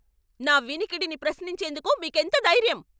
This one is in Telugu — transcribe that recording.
నా వినికిడిని ప్రశ్నించేందుకు మీకెంత ధైర్యం?